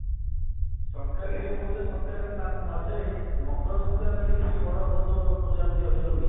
ସଂକ୍ରାନ୍ତି ଯୋଉ କହୁଥିଲେ ସଂକ୍ରାନ୍ତି ମ ମଧ୍ୟରେ ମକର ସଂକ୍ରାନ୍ତି ବଡ ବହୁତ ପୂଜା ପୂଜି ଅଧିକ ହୁଏ